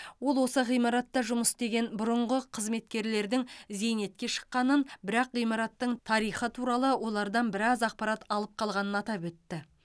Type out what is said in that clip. ол осы ғимаратта жұмыс істеген бұрынғы қызметкерлердің зейнетке шыққанын бірақ ғимараттың тарихы туралы олардан біраз ақпарат алып қалғанын атап өтті